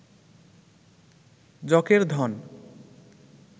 যকের ধন